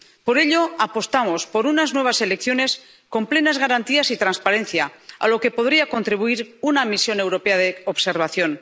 Por ello, apostamos por unas nuevas elecciones con plenas garantías y transparencia, a lo que podría contribuir una misión europea de observación.